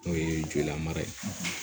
N'o ye jolilamara ye